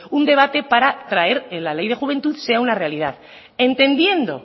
un debate para traer la ley de juventud sea una realidad entendiendo